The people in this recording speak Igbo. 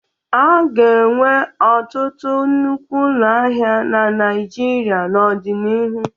A ga-enwe ọtụtụ nnukwu ụlọ ahịa na Naịjirịa n'ọdịnihu.